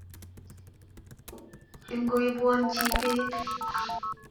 Ingoipwon chi peek.